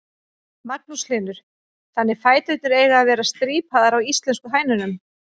Magnús Hlynur: Þannig fæturnir eiga að vera strípaðar á íslensku hænunum?